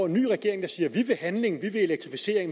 en ny regering der siger at vi vil handling